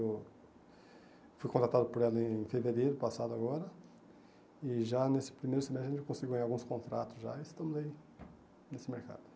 Eu fui contratado por ela em fevereiro passado agora e já nesse primeiro semestre a gente conseguiu ganhar alguns contratos já e estamos aí nesse mercado.